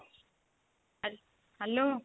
Hello